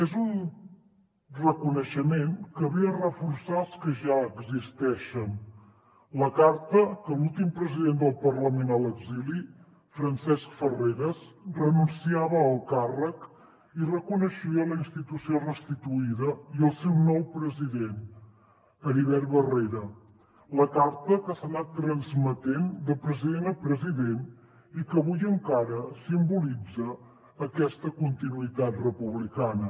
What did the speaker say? és un reconeixement que ve a reforçar els que ja existeixen la carta en què l’últim president del parlament a l’exili francesc farreras renunciava al càrrec i reconeixia la institució restituïda i el seu nou president heribert barrera la carta que s’ha anat transmetent de president a president i que avui encara simbolitza aquesta continuïtat republicana